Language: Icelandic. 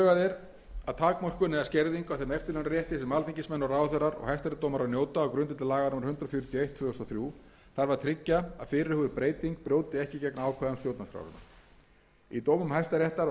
er að takmörkun eða skerðingu á þeim eftirlaunarétti sem alþingismenn ráðherrar og hæstaréttardómarar njóta á grundvelli laga númer hundrað fjörutíu og eitt tvö þúsund og þrjú þarf að tryggja að fyrirhuguð breyting brjóti ekki gegn ákvæðum stjórnarskrárinnar í dómum hæstaréttar og álitum umboðsmanns alþingis hefur verið fallist